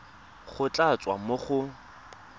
go tla tswa mo go